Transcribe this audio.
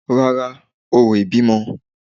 Rárá, orò ìbímọ